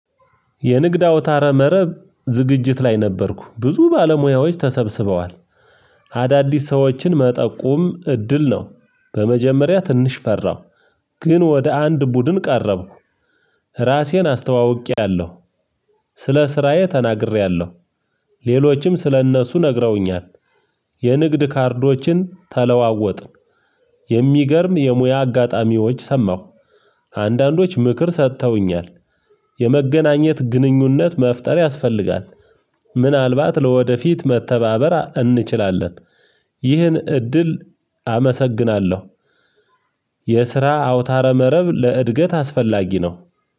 የንግድ አውታረ መረብ ዝግጅት ላይ ነበርኩ ብዙ ባለሙያዎች ተሰብስበዋል። አዳዲስ ሰዎችን መጠቁም እድል ነው። በመጀመሪያ ትንሽ ፈራሁ። ግን ወደ አንድ ቡድን ቀረብኩ። ራሴን አስተዋውቄያለሁ። ስለ ስራዬ ተናግሬያለሁ። ሌሎችም ስለእነሱ ነግረውኛል። የንግድ ካርዶችን ተለዋወጥን። የሚገርም የሙያ አጋጣሚዎች ሰማሁ። አንዳንዶች ምክር ሰጥተውኛል። የመገናኘት ግንኙነት መፍጠር ያስፈልጋል። ምናልባት ለወደፊት መተባበራ እንችላለን። ይህን እድል አመሰግናለሁ። የስራ አውታረ መረብ ለእድገት አስፈላጊ ነው።